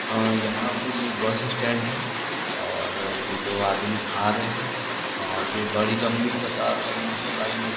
आ यहां पर ये बस स्टैंड है और ये दो आदमी आ रहे है एक बड़ी लंबी कतार लगी हुई है लाइन लगी --